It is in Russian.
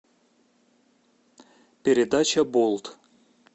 передача болт